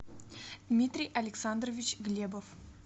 дмитрий александрович глебов